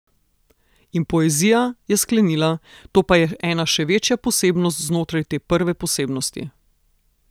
In poezija, je sklenila, to pa je ena še večja posebnost znotraj te prve posebnosti.